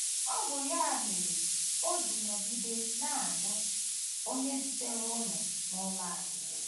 Ọ bụ ya mere o ji nọgide na - ajụ onye zitere unu n’ụlọ anyị. ”